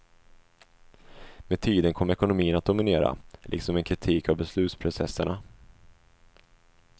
Med tiden kom ekonomin att dominera, liksom en kritik av beslutsprocesserna.